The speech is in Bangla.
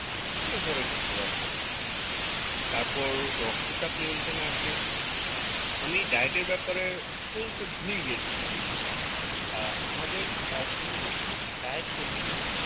অনেক বড়ো একটি প্রভাব ফেলে তারপর রক্ত চাপ নিয়ন্ত্রণ এ আসে আমি diet এর ব্যাপারে বলতে ভুলেই গিয়েছিলাম আহ আমাদের আহ সুন্দর কিন্তু diet করতে হবে